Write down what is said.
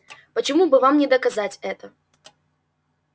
почему бы вам не доказать это